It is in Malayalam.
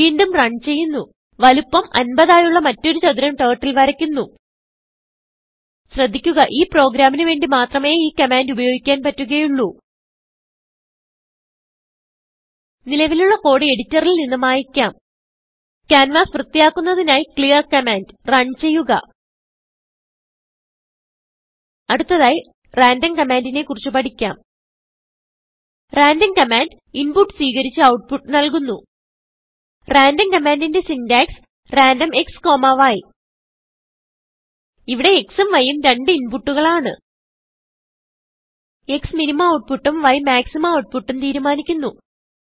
വീണ്ടും runചെയ്യുന്നു വലുപ്പം 50ആയുള്ള മറ്റൊരു ചതുരംTurtle വരയ്ക്കുന്നു ശ്രദ്ധിക്കുക ഈ പ്രോഗ്രാമിന് വേണ്ടി മാത്രമേ ഈ കമാൻഡ് ഉപയോഗിക്കാൻ പറ്റുകയുള്ളൂ നിലവിലുള്ള കോഡ് എഡിറ്ററിൽ നിന്ന് മായിക്കാം ക്യാൻവാസ് വൃത്തിയാക്കുന്നതിനായി ക്ലിയർ കമാൻഡ് runചെയ്യുക അടുത്തതായി randomകമാൻഡിനെ കുറിച്ച് പഠിക്കാം randomകമാൻഡ് ഇൻപുട്ട് സ്വീകരിച്ച് outputനല്കുന്നു randomകമാൻഡിന്റെ syntaxറാൻഡം xയ് ഇവിടെ X ഉം Y ഉം രണ്ട് inputകൾ ആണ് Xമിനിമം ഔട്ട്പുട്ട് ഉം Yമാക്സിമം ഔട്ട്പുട്ട് ഉം തീരുമാനിക്കുന്നു